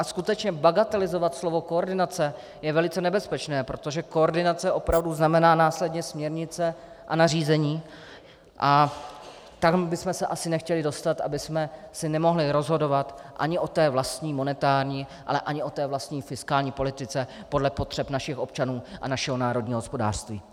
A skutečně bagatelizovat slovo koordinace je velice nebezpečné, protože koordinace opravdu znamená následně směrnice a nařízení a tam bychom se asi nechtěli dostat, abychom si nemohli rozhodovat ani o té vlastní monetární, ale ani o té vlastní fiskální politice podle potřeb našich občanů a našeho národního hospodářství.